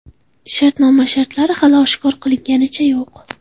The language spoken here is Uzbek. Shartnoma shartlari hali oshkor qilinganicha yo‘q.